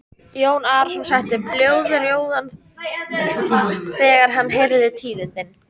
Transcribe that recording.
Jón Arason setti blóðrjóðan þegar hann heyrði tíðindin.